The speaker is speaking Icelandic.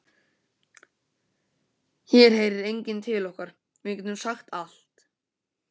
Hér heyrir enginn til okkar, við getum sagt allt